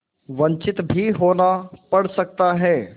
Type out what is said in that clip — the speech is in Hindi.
वंचित भी होना पड़ सकता है